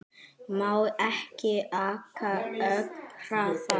Má ekki aka ögn hraðar?